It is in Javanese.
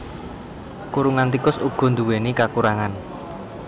Kurungan tikus uga nduwèni kakurangan